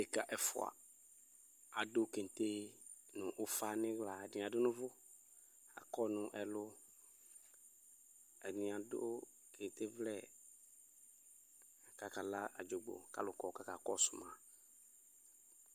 Ɖeka ɛfʋa adʋ keŋte nʋ ʋfa n'iɣla Ɛdini adʋ n'ʋvʋ, akɔ nʋ ɛlʋ, ɛdini adʋ keŋte vlɛ k'akala adzogbo k'alʋ kɔ k'aka kɔsʋ ma